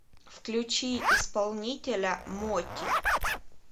включи исполнителя моти